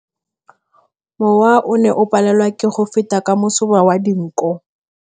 Mowa o ne o palelwa ke go feta ka masoba a dinko.